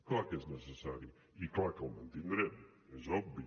clar que és necessari i clar que el mantindrem és obvi